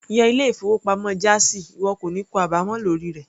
Yan ilé-ìfowópamọ́ jáàzì ìwọ kò ní kó àbámọ̀ lórí rẹ̀.